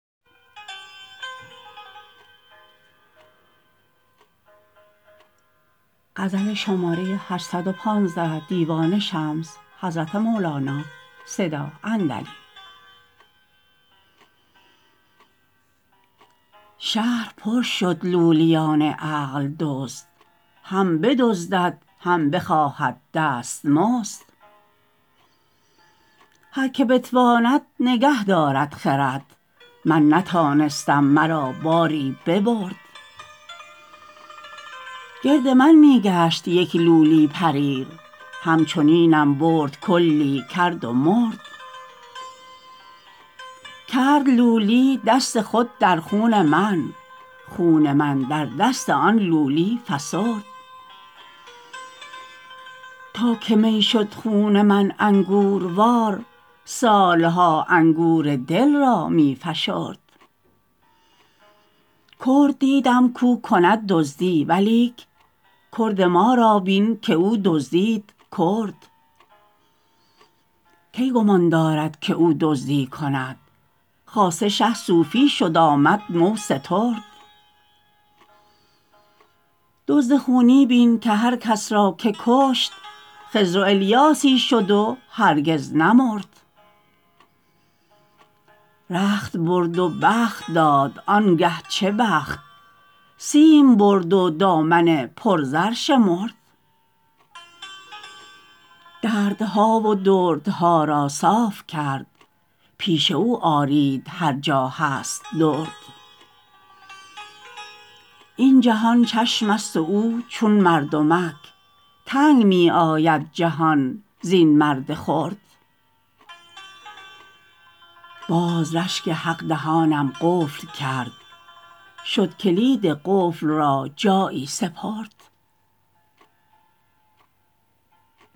شهر پر شد لولیان عقل دزد هم بدزدد هم بخواهد دستمزد هر که بتواند نگه دارد خرد من نتانستم مرا باری ببرد گرد من می گشت یک لولی پریر همچنینم برد کلی کرد و مرد کرد لولی دست خود در خون من خون من در دست آن لولی فسرد تا که می شد خون من انگوروار سال ها انگور دل را می فشرد کرد دیدم کو کند دزدی ولیک کرد ما را بین که او دزدید کرد کی گمان دارد که او دزدی کند خاصه شه صوفی شد آمد مو سترد دزد خونی بین که هر کس را که کشت خضر و الیاسی شد و هرگز نمرد رخت برد و بخت داد آنگه چه بخت سیم برد و دامن پرزر شمرد دردها و دردها را صاف کرد پیش او آرید هر جا هست درد این جهان چشمست و او چون مردمک تنگ می آید جهان زین مرد خرد باز رشک حق دهانم قفل کرد شد کلید و قفل را جایی سپرد